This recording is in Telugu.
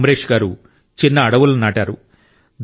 అమ్రేష్ గారు చిన్న అడవులను నాటారు